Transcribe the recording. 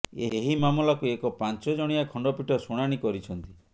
ଏହି ମମାଲାକୁ ଏକ ପାଞ୍ଚ ଜଣିଆ ଖଣ୍ଡପୀଠ ଶୁଣାଣୀ କରିଛନ୍ତି